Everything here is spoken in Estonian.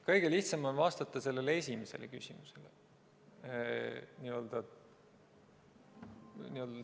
Kõige lihtsam on vastata sellele esimesele küsimusele.